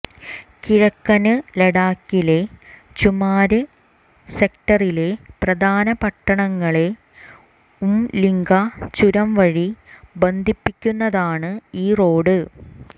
കിഴക്കന് ലഡാക്കിലെ ചുമാര് സെക്ടറിലെ പ്രധാന പട്ടണങ്ങളെ ഉംലിംഗ്ല ചുരം വഴി ബന്ധിപ്പിക്കുന്നതാണ് ഈ റോഡ്